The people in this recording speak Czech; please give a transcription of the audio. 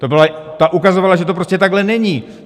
Ta ukazovala, že to prostě takhle není.